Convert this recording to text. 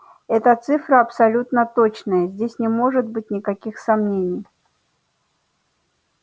эта цифра абсолютно точная здесь не может быть никаких сомнений